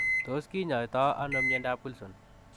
Tos kinyaitoo anoo miandap Wilson?